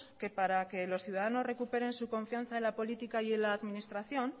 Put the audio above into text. que para que los ciudadanos recuperen su confianza en la política y en la administración